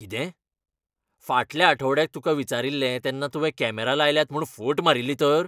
कितें ? फाटल्या आठवड्याक तुका विचारिल्लें तेन्ना तुवें कॅमरा लायल्यात म्हूण फट मारिल्ली तर?